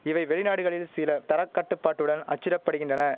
இவை வெளிநாடுகளில் சில தரக்கட்டுப்பாட்டுடன் அச்சிடப்படுகின்றன